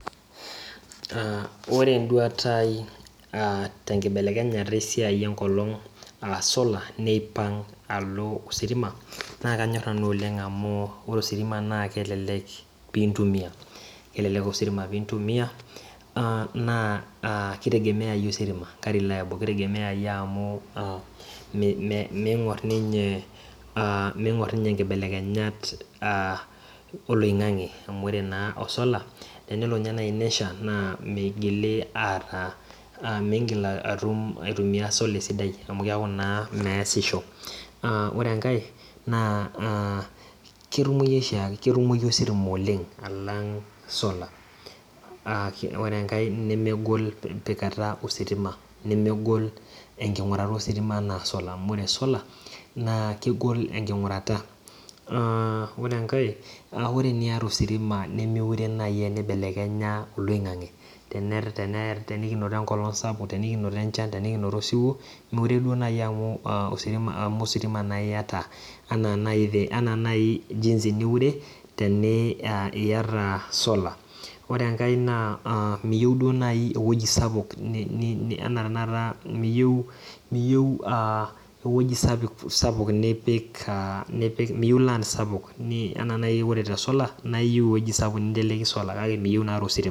Ore enduata aai tenkibelekenyata enkimaa a sola nipang' alo ositima na kanyorr nanu oleng' amu ore ositima naa kelek pintumia amu kitegemeai ositima na ming'urr ninye nkibelekenyat oloing'ang'i amu ore osola na ore nai pesha mingil aitumia sola esidai amu keaku naa measisho. Ore enkae na ketumoi ositima oleng alang sola ore enkae namegol empikata esola nemegol enkingurata ositima ,ore enkae ore sola nemenya olaingangi tenikinoto enkolong sapuk tenikinoto osiwuo miure nai amu ositimaiata iyata sola ore enkae miyieu nai ewoi sapuk ann miyieu ewueji sapuk kake miyieu na tositima.